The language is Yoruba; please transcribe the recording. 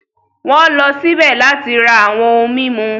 Wọ́n lọ síbẹ̀ láti ra àwọn ohun mímu.